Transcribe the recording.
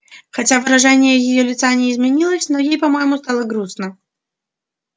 хотя выражение её лица не изменилось но ей по-моему стало грустно